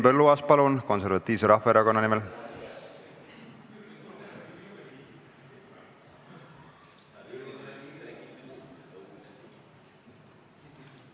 Henn Põlluaas, palun, Konservatiivse Rahvaerakonna nimel!